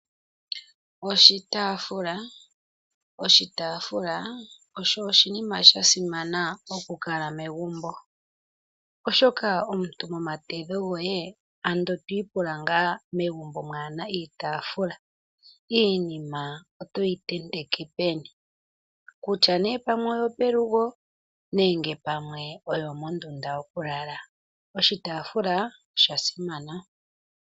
Oshitaafula. Oshitaafula osho oshinima shasimana oku kala megumbo oshoka omuntu momatedho goye ando twiipula ngaa megumbo kaamuna iitaafula iinima otoyi tenteke peni? Kutya nee pamwe oyo pelugo nenge pamwe oyomondunda yokulala oshitaafula osha simana.